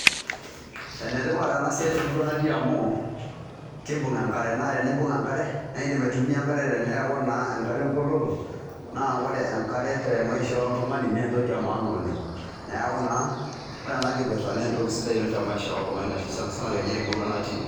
Ene tipat ena siai te murua natii amu kibung' enkare, naa tenibung' enkare nae indim aitumia enkare teneeku naa enkata eng'oloto naa ore enkare te maisha oltung'ani naa entoki e maana oleng'. Neeku naa ore ena kipirta naa entoki sidai te maisha oltung'ani sana sana nye te murua natii.